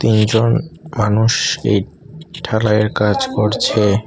দুইজন মানুষ এই ঢালাইয়ের কাজ করছে।